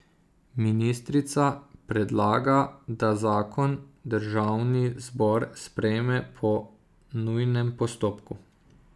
Ministrica predlaga, da zakon državni zbor sprejme po nujnem postopku.